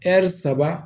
saba